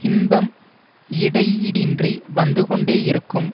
இன்பம் இடையீடின்றி வந்துகொண்டே இருக்கும்